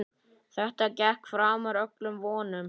Þetta gekk framar öllum vonum.